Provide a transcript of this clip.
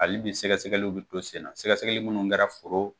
Hali bi sɛgɛsɛgɛliw bi to senna sɛgɛsɛgɛli minnu kɛra foro